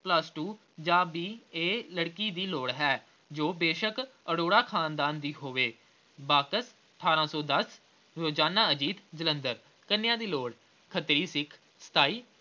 plus two ਜਾਂ B. A. ਲੜਕੀ ਦੀ ਲੋੜ ਹੈ ਜੋ ਬੇਸ਼ੱਕ ਅਰੋੜਾ ਖ਼ਾਨਦਾਨ ਦੀ ਹੋਵੇ। ਆਠਾਰਾਂ ਸੌ ਦਸ ਰੋਜ਼ਾਨਾ ਅਜੀਤ ਜਲੰਧਰ। ਕੰਨੀਆ ਦੀ ਲੋੜ ਖੱਤਰੀ ਸਿੱਖ ਸਤਾਈ।